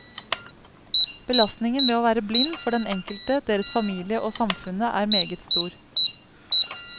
Belastningen ved å være blind for den enkelte, deres familie og samfunnet er meget stor.